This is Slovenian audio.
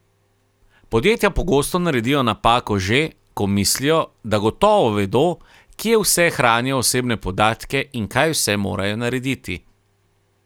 Podjetja pogosto naredijo napako že, ko mislijo, da gotovo vedo, kje vse hranijo osebne podatke in kaj vse morajo narediti.